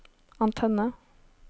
antenne